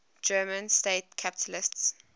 german state capitals